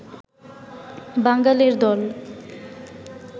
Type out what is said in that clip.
বাঙালের দল